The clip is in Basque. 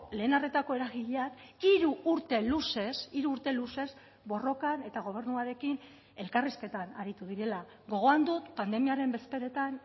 lehen arretako eragileak hiru urte luzez hiru urte luzez borrokan eta gobernuarekin elkarrizketan aritu direla gogoan dut pandemiaren bezperetan